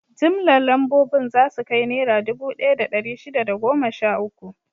Jimllar lambobin za su kai Naira dubu ɗaya da ɗari shida da goma sha uku.